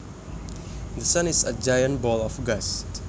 The sun is a giant ball of gas